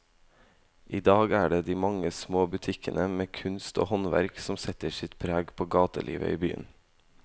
I dag er det de mange små butikkene med kunst og håndverk som setter sitt preg på gatelivet i byen.